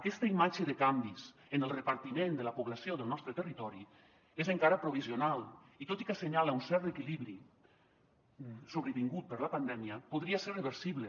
aquesta imatge de canvis en el repartiment de la població del nostre territori és encara provisional i tot i que assenyala un cert reequilibri sobrevingut per la pandèmia podria ser reversible